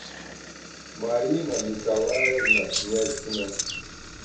марина николаевна князькина